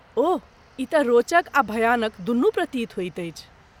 ओह, ई तँ रोचक आ भयानक दुनू प्रतीत होइत अछि।